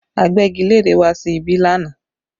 Agbẹ́gilére wá sí ibí lánàá